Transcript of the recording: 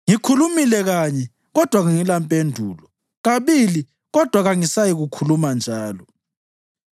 Ngikhulumile kanye, kodwa kangilampendulo, kabili, kodwa kangisayikukhuluma njalo.”